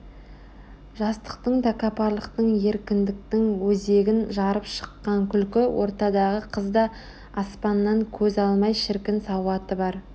жастықтың тәкаппарлықтың еркіндіктің өзегін жарып шыққан күлкі ортадағы қыз да аспаннан көз алмай шіркін сауаты бар